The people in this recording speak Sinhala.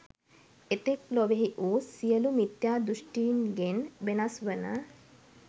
එතෙක් ලොවෙහි වූ සියලු මිථ්‍යා දෘෂ්ඨින්ගෙන් වෙනස් වන